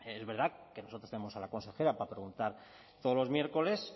es verdad que nosotros tenemos a la consejera para preguntar todos los miércoles